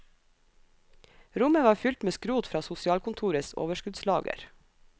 Rommet var fylt med skrot fra sosialkontorets overskuddslager.